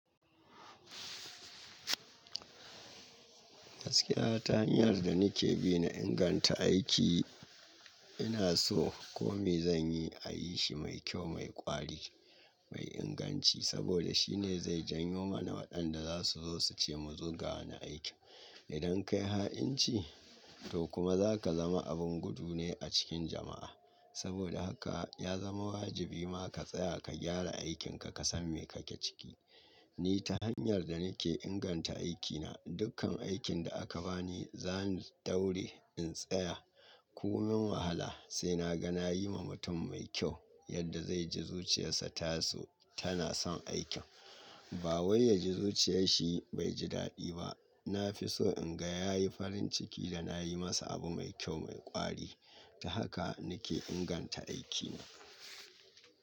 Gaskiya ta hanyar da nake bina inganta aiki, ina so kome zanyi a yi shi mai kyau, mai ƙwari, mai inganci saboda shine zai jan yo mana waɗanda za su zo su ce mu zo ga wani aiki. Idan kayi ha'inci to kuma zaka zama abun gudu ne a cikin jama'a. Saboda haka ya zama wajibi ma ka tsaya ka gyara aikin ka, ka san me kake ciki. Ni ta hanyar da nake inganta aikina, dukkan aikin da aka bani zani daure in tsaya. Komin wahala sai na ga na yi wa mutum mai kyau yadda zai ji zuciyarsa ta so tana son aikin. Ba wai ya ji zuciyar shi bai ji daɗi ba. Nafiso in ga ya yi farin ciki ya nayi masa abu mai kyau, mai ƙwari. Ta haka nake inganta aikina.